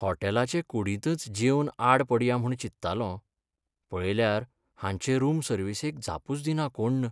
होटॅलाचे कुडींतच जेवन आड पडया म्हूण चिंत्तालों, पळयल्यार हांचे रूम सर्विसेक जापूच दिना कोण्ण.